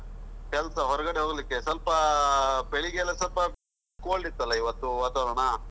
ಕೆಲಸ ಹೊರಗಡೆ ಹೋಗ್ಲಿಕ್ಕೆ ಸ್ವಲ್ಪ, ಬೆಳಿಗ್ಗೆ ಎಲ್ಲ ಸ್ವಲ್ಪ cold ಇತ್ತಲ್ಲ ಇವತ್ತು ವಾತಾವರಣ.